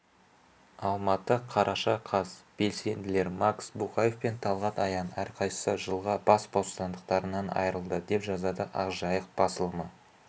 алматы қараша қаз белсенділер макс боқаев пен талғат аян әрқайсысы жылға бас бостандықтарынан айырылды деп жазады ак жайык басылымы